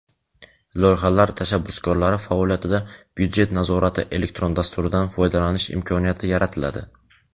Loyihalar tashabbuskorlari faoliyatida "Byudjet nazorati" elektron dasturidan foydalanish imkoniyati yaratiladi.